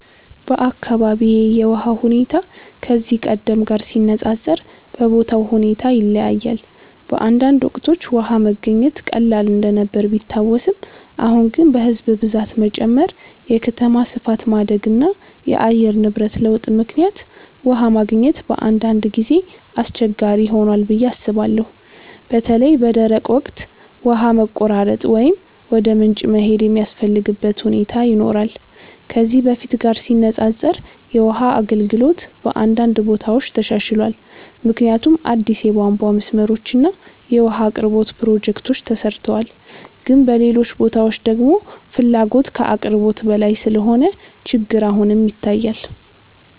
በአካባቢዬ የውሃ ሁኔታ ከዚህ ቀደም ጋር ሲነፃፀር በቦታው ሁኔታ ይለያያል። በአንዳንድ ወቅቶች ውሃ መገኘት ቀላል እንደነበር ቢታወስም፣ አሁን ግን በሕዝብ ብዛት መጨመር፣ የከተማ ስፋት ማደግ እና የአየር ንብረት ለውጥ ምክንያት ውሃ ማግኘት በአንዳንድ ጊዜ አስቸጋሪ ሆኗል ብዬ አስባለሁ። በተለይ በደረቅ ወቅት ውሃ መቆራረጥ ወይም ወደ ምንጭ መሄድ የሚያስፈልግበት ሁኔታ ይኖራል። ከዚህ በፊት ጋር ሲነፃፀር የውሃ አገልግሎት በአንዳንድ ቦታዎች ተሻሽሏል፣ ምክንያቱም አዲስ የቧንቧ መስመሮች እና የውሃ አቅርቦት ፕሮጀክቶች ተሰርተዋል። ግን በሌሎች ቦታዎች ደግሞ ፍላጎት ከአቅርቦት በላይ ስለሆነ ችግር አሁንም ይታያል።